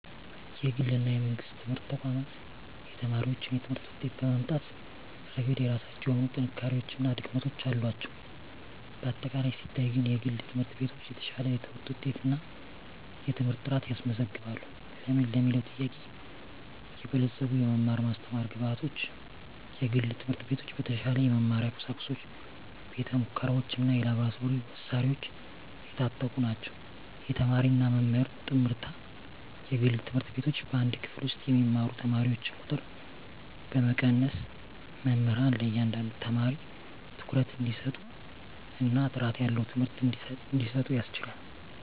የግል እና የመንግሥት ትምህርት ተቋማት የተማሪዎችን የትምህርት ውጤት በማምጣት ረገድ የራሳቸው የሆኑ ጥንካሬዎች እና ድክመቶች አሏቸው። በአጠቃላይ ሲታይ ግን፣ የግል ትምህርት ቤቶች የተሻለ የትምህርት ውጤት እና የትምህርት ጥራት ያስመዘግባሉ። ለምን ለሚለዉ ጥያቄ -የበለፀጉ የመማር ማስተማር ግብአቶች፦ የግል ትምህርት ቤቶች በተሻለ የመማሪያ ቁሳቁሶች፣ ቤተ-ሙከራዎች፣ እና የላብራቶሪ መሣሪያዎች የታጠቁ ናቸው። -የተማሪና መምህር ጥምርታ፦ የግል ትምህርት ቤቶች በአንድ ክፍል ውስጥ የሚማሩ ተማሪዎችን ቁጥር በመቀነስ፣ መምህራን ለእያንዳንዱ ተማሪ ትኩረት እንዲሰጡ እና ጥራት ያለው ትምህርት እንዲሰጡ ያስችላል።